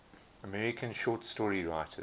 american short story writers